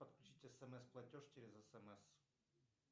подключить смс платеж через смс